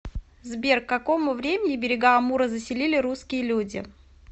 сбер к какому времени берега амура заселили русские люди